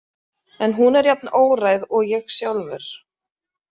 En hún er jafn óræð og ég sjálfur.